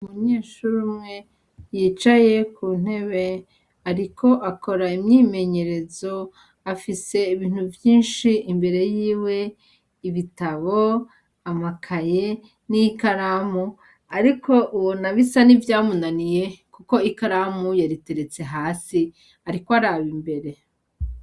Umunyeshuri umwe yicaye ku ntebe ariko akora imyimenyerezo afise ibintu vyinshi imbere yiwe, ibitabo, amakaye, n'ikaramu, ariko ubona bisa ni vyamunaniye, kuko ikaramu yariteretse hasi ariko araba imbere.